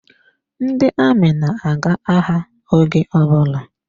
Ndị amị na-aga agha oge ọbụla.